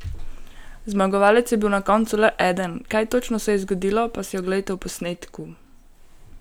Zmagovalec je bil na koncu le eden, kaj točno se je zgodilo, pa si oglejte v posnetku!